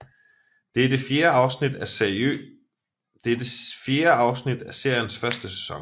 Det er det fjerde afsnit af seriens første sæson